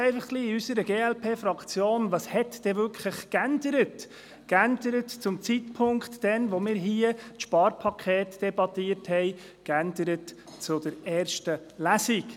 In unserer glp-Fraktion fragt man sich einfach, was sich denn wirklich geändert hat – geändert, seit wir das Sparpaket debattiert haben, geändert seit der ersten Lesung.